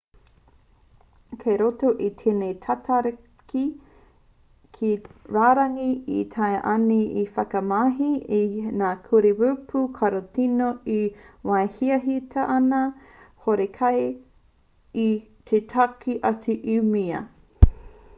kei roto i tēnei me tatari ki te rārangi e taea ana te whakamahi i ngā kurī rapu tarukino i te wā e hiahiatia ana horekau te whaki atu i mua